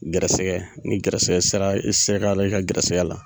Gɛrɛsɛgɛ ni gɛrɛsɛgɛ sara sera ka i ka gɛrɛsɛgɛ la